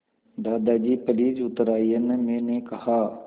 दादाजी प्लीज़ उतर आइये न मैंने कहा